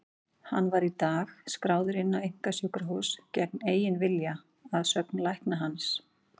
Hann var í dag skráður inn á einkasjúkrahús gegn eigin vilja, að sögn lækna hans.